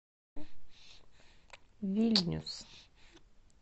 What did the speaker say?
вильнюс